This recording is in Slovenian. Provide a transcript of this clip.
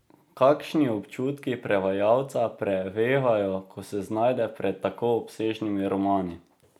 Kakšni občutki prevajalca prevevajo, ko se znajde pred tako obsežnimi romani?